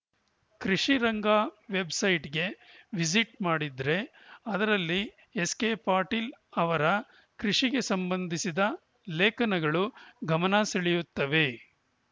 ಕೃಷಿರಂಗ ವೆಬ್‌ಸೈಟ್‌ಗೆ ವಿಸಿಟ್‌ ಮಾಡಿದ್ರೆ ಅದರಲ್ಲಿ ಎಸ್‌ಕೆ ಪಾಟೀಲ್‌ ಅವರ ಕೃಷಿಗೆ ಸಂಬಂಧಿಸಿದ ಲೇಖನಗಳು ಗಮನಸೆಳೆಯುತ್ತವೆ